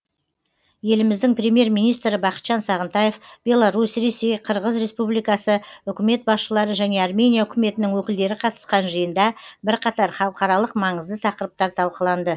еліміздің премьер министрі бақытжан сағынтаев беларусь ресей қырғыз республикасы үкімет басшылары және армения үкіметінің өкілдері қатысқан жиында бірқатар халықаралық маңызды тақырыптар талқыланды